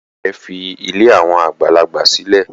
Ìyá-ìyá rẹ̀ fi ilé àwọn àgbàlagbà sílẹ̀.